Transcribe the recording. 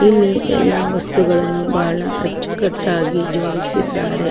ಇಲ್ಲಿ ಎಲ್ಲ ವಸ್ತುಗಳನ್ನು ಬಹಳ ಅಚ್ಚುಕಟ್ಟಾಗಿ ಜೋಡಿಸಿದ್ದಾರೆ.